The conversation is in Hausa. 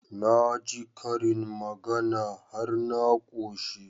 Na ji karin magana har na ƙoshi